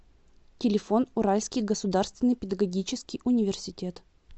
телефон уральский государственный педагогический университет